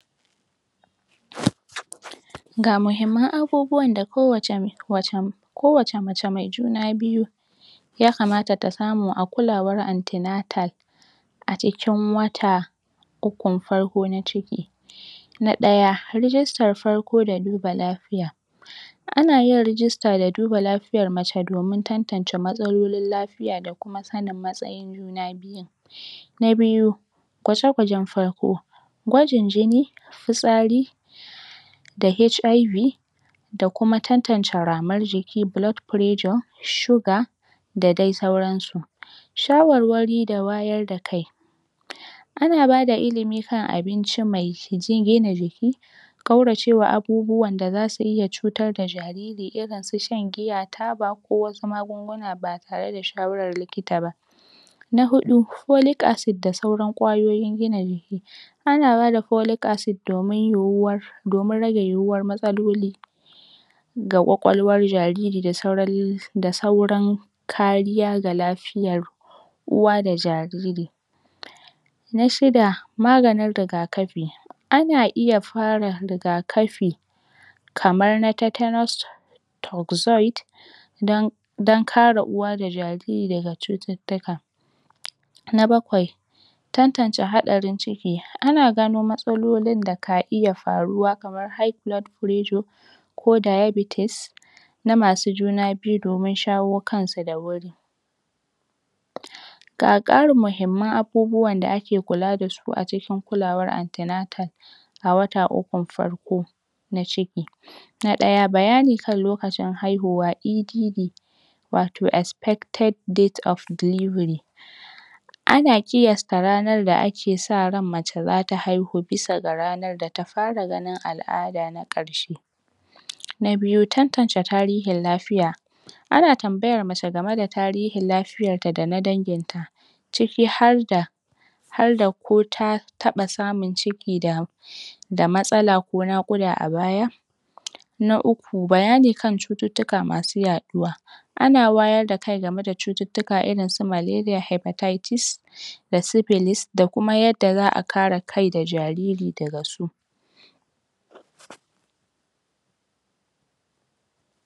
(????) ga muhimmin abubuwa da kowace (????) ko wace mace mai juna byu yakamata ta samu a kulawar antinatal acikin wata uku farko na ciki nadaya rigister farko da duba lafiya ana yin register da duba lafiyar mace domin tantance matsalolin lafiya da kuma sanin matsayin juna biyun na biyu gwaje gwajen farko gwajin jini fitsari da HIV da kuma tantance ramar jini (blood pressure) (sugar) da dai sauransu shawarwari da wayarda kai ana bada ilimi kan abinci mai gina jiki kaurace wa abubuwan da zasu iya cutar da jariri irinsu shan giya, taba ko wasu magunguna ba tareda shawarar likita ba na hudu holic acid da sauran kwayoyin gina jiki ana bada holic acid domin yu'uwar domin rage yu'uwar matsaloli ga kwakwalwan jariri da sauran( l) da sauran kariya ga lafiyar uwa da jariri na shida maganin rigakafi ana iya fara rigakafi kaman na tetanus toxoid dan dan kare uwa da jariri daga cututtuka na bakwai tantance hadarin ciki ana gano matsalolin daka iya faruwa kaman high blood pressure ko diabeties na masu juna byu domin shawo kansu dawuri ga karin muhimman abubuwan da ake kula dasu acikin kulawan antinatal awata ukun farko na ciki na daya bayani kan lokacin haihuwa EDD wato( expected date of delivery) ana kiyasta ranar da ake sa ran mace zata haihu bisa ga ranar data fara ganin al''ada na karshe na biyu tantance tarihin lafiya ana tambayan mace gameda tarihin lafiyanta dana danginta ciki harda harda ko ta taba samun ciki da da matsala ko nakuda a baya na uku bayanani kan cututtuka masu yaduwa ana wayarda kai game da cututtuka rinsu maleria, hypertieties da siblis da kuma yadda za'a kara kai da jariri daga su